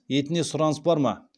етіне сұраныс бар ма